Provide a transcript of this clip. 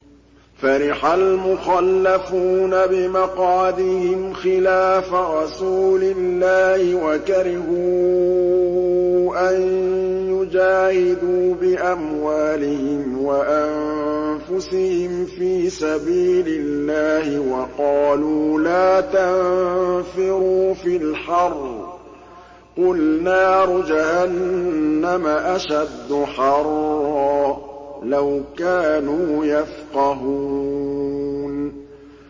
فَرِحَ الْمُخَلَّفُونَ بِمَقْعَدِهِمْ خِلَافَ رَسُولِ اللَّهِ وَكَرِهُوا أَن يُجَاهِدُوا بِأَمْوَالِهِمْ وَأَنفُسِهِمْ فِي سَبِيلِ اللَّهِ وَقَالُوا لَا تَنفِرُوا فِي الْحَرِّ ۗ قُلْ نَارُ جَهَنَّمَ أَشَدُّ حَرًّا ۚ لَّوْ كَانُوا يَفْقَهُونَ